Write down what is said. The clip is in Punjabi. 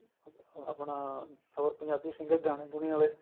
ਆਪਣਾ ਹੋਰ ਪੰਜਾਬੀ singer ਗਾਣੇ ਗੁਣੇ ਆਲੇ